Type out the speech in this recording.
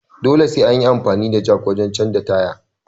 Dole sai anyi amfani da jak wajen canja tyre